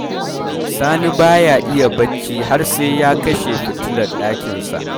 Sani ba ya iya bacci har sai ya kashe fitilar ɗakinsa.